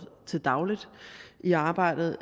til daglig i arbejdet